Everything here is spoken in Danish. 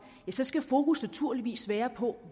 skal fokus naturligvis være på